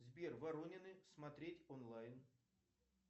сбер воронины смотреть онлайн